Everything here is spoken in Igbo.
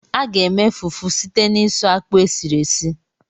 A ga-eme fufu site n'isu akpụ esiri esi.